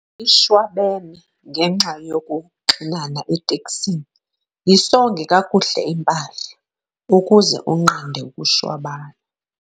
ishwabene ngenxa yokuxinana eteksini. yisonge kakuhle impahla ukuze unqande ukushwabana